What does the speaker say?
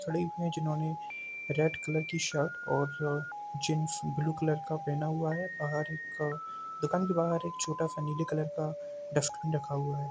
जिन्होंने red colour की shirt और अ जीन्स ब्लू कलर का पहना हुआ है। बाहर एक दुकान के बाहर एक छोटा-सा नीले कलर का डस्टबिन रखा हुआ है।